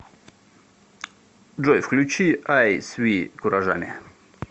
джой включи ай сви куражами